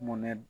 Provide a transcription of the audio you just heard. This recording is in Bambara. Mun ne